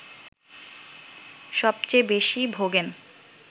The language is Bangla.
সবচেয়ে বেশি ভোগেন